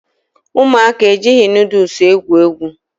Ụmụaka ejighị nudụls egwu egwu